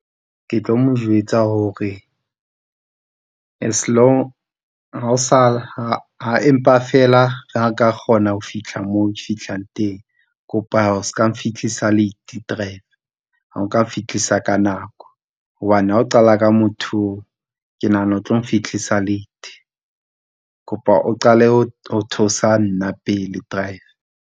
Ke tlo mo jwetsa hore as long empa fela a ka kgona ho fihla moo fihlang teng kopa o s'ka nfihlisa late driver ha oka fihlisa ka nako hobane ha o qala ka motho oo, ke nahana o tlo nfihlisa late kopa o qale ho theosa nna pele drive.